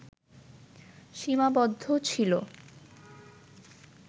সীমাবদ্ধ ছিলো